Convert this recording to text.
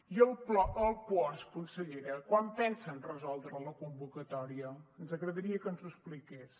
i el puosc consellera quan pensen resoldre la convocatòria ens agradaria que ens ho expliqués